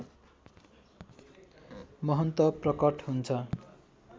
महन्त प्रकट हुन्छ